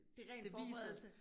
Det er ren forberedelse